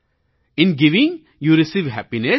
in giving you receive happiness